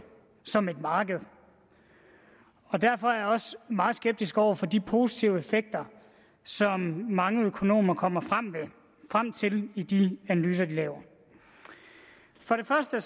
som et marked og derfor er jeg også meget skeptisk over for de positive effekter som mange økonomer kommer frem til i de analyser de laver for det første